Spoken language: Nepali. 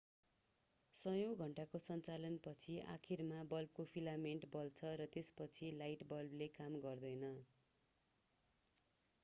सयौं घण्टाको सञ्चालन पछि आखिरमा बल्बको फिलामेन्ट बल्छ र त्यसपछि लाइट बल्बले काम गर्दैन